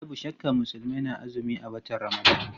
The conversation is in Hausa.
Babu shakka Musulmai na azumi a watan Ramadan.